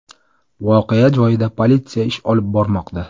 Voqea joyida politsiya ish olib bormoqda.